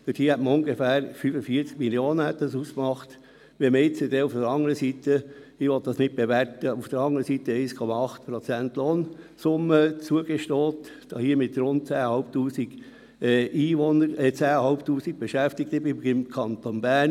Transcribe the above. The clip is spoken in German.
Dort hätte es ungefähr 45 Mio. Franken ausgemacht, wenn man jetzt einem Teil der anderen Seite – ich will dies nicht bewerten – 1,8 Prozent Lohnsumme zugesteht, hier den rund 10 500 Beschäftigten beim Kanton Bern.